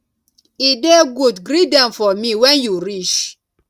e dey good greet dem for me when you reach